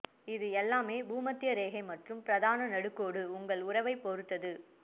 இது எல்லாமே பூமத்திய ரேகை மற்றும் பிரதான நடுக்கோடு உங்கள் உறவைப் பொறுத்தது